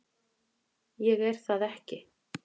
Ég er það ekki.